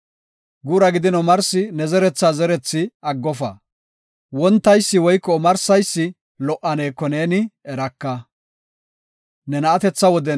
Guura gidin omarsi ne zerethi zereysa aggofa; wontaysi woyko omarsaysi lo77aneko neeni eraka.